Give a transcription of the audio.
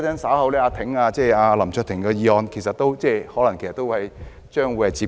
稍後有關林卓廷議員的議案可能亦是類近的情況。